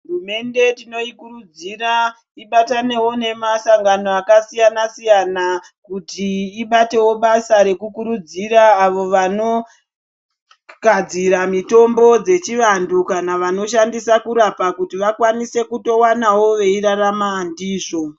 Hurumende tinoi kurudzira ibatanewo ne masangano aka siyana siyana kuti ibatewo basa reku kurudzira avo vano gadzira mitombo dzechi vantu kana vanoshandisa kurapa kuti vakwanise kuto wanawo vei rarama ndizvo.